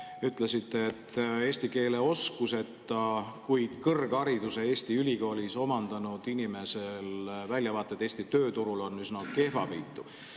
Te ütlesite, et eesti keele oskuseta, kuid kõrghariduse Eesti ülikoolis omandanud inimese väljavaated Eesti tööturul on üsna kehvavõitu.